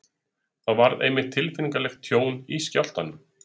Þar varð einmitt tilfinnanlegt tjón í skjálftanum.